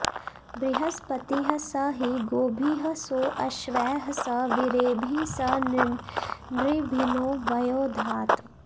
बृह॒स्पतिः॒ स हि गोभिः॒ सो अश्वैः॒ स वी॒रेभिः॒ स नृभि॑र्नो॒ वयो॑ धात्